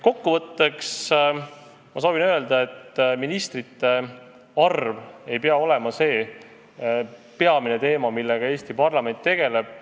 Kokkuvõtteks ma soovin öelda, et ministrite arv ei pea olema peamine teema, millega Eesti parlament tegeleb.